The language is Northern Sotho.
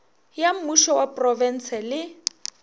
ya mmušo wa profense le